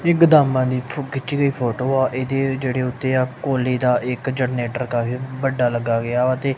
ਏਹ ਗੋਦਾਮਾਂ ਦੀ ਖਿੱਚੀ ਗਈ ਫ਼ੋਟੋ ਆ ਏਹਦੇ ਜੇਹੜੇ ਉੱਤੇ ਆ ਕੋਇਲੇ ਦਾ ਇਕ ਜਨ ਕਾਫ਼ੀ ਵੱਡਾ ਲੱਗਾ ਗੇਆ ਵਾ ਤੇ--